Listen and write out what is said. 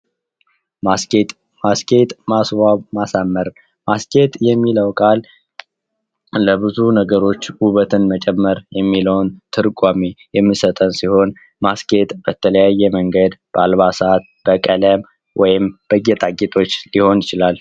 ማስጌጥ ማስጌጥ ማስዋብ ማሳመር ማስጌጥ የሚለው ቃል ለብዙ ነገሮች ውበትን መጨመር የሚለው ትርጓሜውን የሚሰጠን ሲሆን ማስጌጥ በተለያየ መንገድ በአልባሳት፣ በቀለም ወይም በጌጣጌጦች ሊሆን ይችላል።